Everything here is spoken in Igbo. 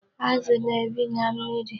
Azụ na-ebi na mmiri.